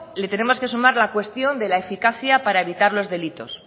le tenemos que sumar la cuestión de la eficacia para evitar los delitos